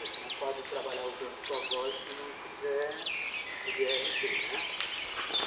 Você não pode trabalhar usando sua voz se não tiver o dê erre tê, né.